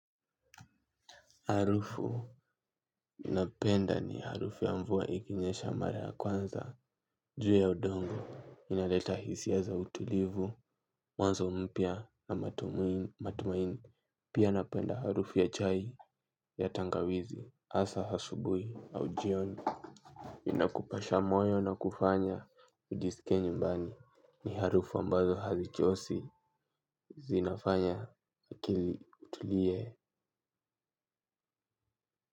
Harufu napenda ni harufu ya mvua ikinyesha mara ya kwanza, juu ya udongo, inaleta hisia za utulivu, mwanzo mpya na matumaini, pia napenda harufu ya chai ya tangawizi, hasa asubuhi au jioni. Inakupasha moyo na kufanya ujisikie nyumbani, ni harufu ambazo hazichoshi zinafanya akili itulie.